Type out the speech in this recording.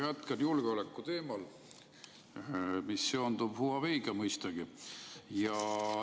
Ma jätkan julgeoleku teemal, mis seondub Huaweiga, mõistagi.